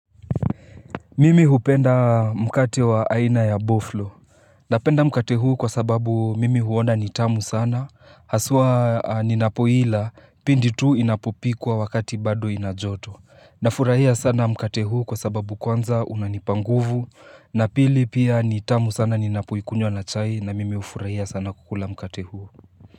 Mimi hupenda mkate wa aina ya boflo. Napenda mkate huu kwa sababu mimi huona nitamu sana. Haswa ninapoila pindi tu inapopikwa wakati bado inajoto. Nafurahia sana mkate huu kwa sababu kwanza unanipa nguvu. Na pili pia nitamu sana ninapoikunywa na chai na mimi ufurahia sana kukula mkate huu.